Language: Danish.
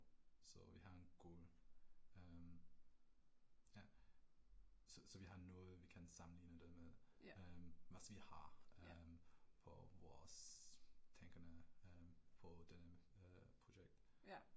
Så vi har en god, øh ja, så vi har noget vil kan sammenligne det med, øh hvad vi har øh på vores tegne på den projekt